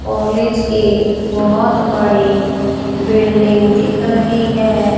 College के बहुत बड़ी बिल्डिंग दिख रही है।